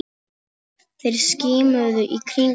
Þeir skimuðu í kringum sig.